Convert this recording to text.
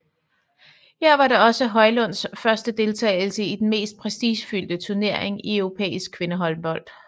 Her var det også Højlunds første deltagelse i den mest prestigefyldte turnering i europæisk kvindehåndbold